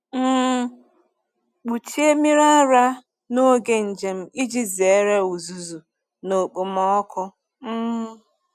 M kpuchie mmiri ara n’oge njem iji zere uzuzu na okpomọkụ. um